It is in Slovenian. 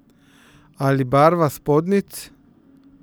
Ali barva spodnjic.